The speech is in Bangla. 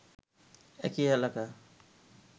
একই এলাকা